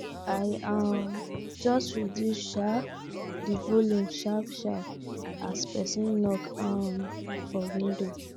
i um just reduce um the volume sharp sharp as person knok um for window